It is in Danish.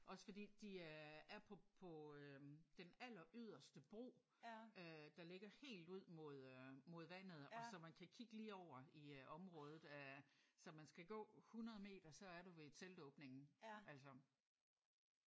Også fordi de er på på øh den alleryderste bro øh der ligger helt ud mod øh mod vandet og så man kan kigge lige over i området. Så man skal gå 100 meter så er du ved teltåbningen altså